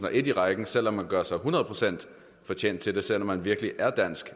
og en i rækken selv om man gør sig hundrede procent fortjent til det selv om man virkelig er dansk